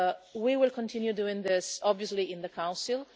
We will continue doing this, obviously, in the Council.